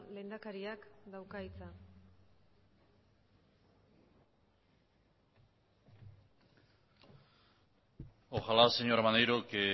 lehendakariak dauka hitza ojalá señor maneiro que